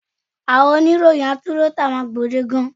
Àwọn oníròyìn atúnrọ́tà máa gbòdekan.